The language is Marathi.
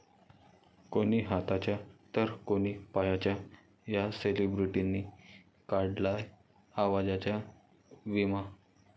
कोणी हाताचा तर कोणी पायाचा या सेलिब्रिटींनी काढलाय आवाजाचा विमा